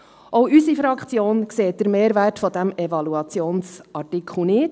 Auch unsere Fraktion sieht den Mehrwert dieses Evaluationsartikels nicht.